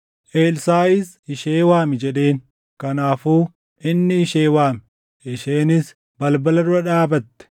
Elsaaʼis, “Ishee waami” jedheen. Kanaafuu inni ishee waame; isheenis balbala dura dhaabatte.